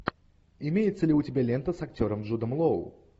имеется ли у тебя лента с актером джудом лоу